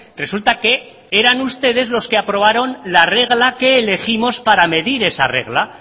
resulta que eran ustedes los que aprobaron la regla que elegimos para medir esa regla